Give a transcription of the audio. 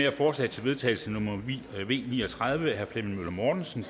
er forslag til vedtagelse nummer v ni og tredive af flemming møller mortensen